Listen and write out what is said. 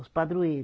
Os padroeiro